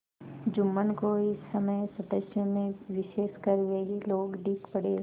जुम्मन को इस समय सदस्यों में विशेषकर वे ही लोग दीख पड़े